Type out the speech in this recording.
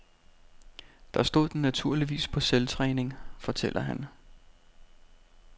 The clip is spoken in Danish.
Der stod den naturligvis på selvtræning, fortæller han.